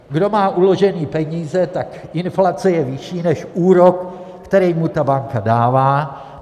Kdo má uložené peníze, tak inflace je vyšší než úrok, který mu ta banka dává.